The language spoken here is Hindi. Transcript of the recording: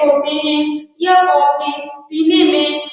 होते है। यह कॉफ़ी पीने में --